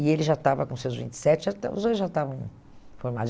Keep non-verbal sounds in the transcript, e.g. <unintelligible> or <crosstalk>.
E ele já estava com seus vinte e sete, já <unintelligible> os dois já estavam formados.